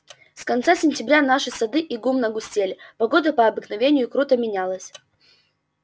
с конца сентября наши сады и гумна пустели погода по обыкновению круто менялась